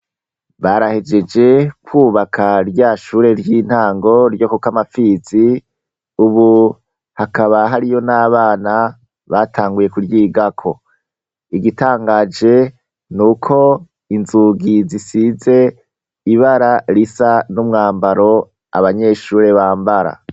Barahegeje kubaka rya shure ry'intango ryo ku Kamapfizi ubu hakaba hariyo n'abana batanguye kuryigako. Igitangaje nuko inzugi zisize ibara risa n'umwambaro abanyeshure bambara.